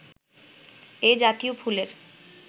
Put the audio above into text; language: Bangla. এ জাতীয় ফুলের